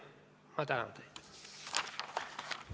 Ma tänan teid!